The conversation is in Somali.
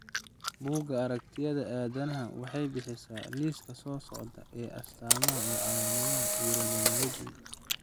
Bugga Aragtiyaha Aadanaha waxay bixisaa liiska soo socda ee astaamaha iyo calaamadaha Erythromelalgia.